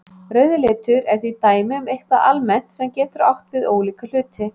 Rauður litur er því dæmi um eitthvað almennt sem getur átt við ólíka hluti.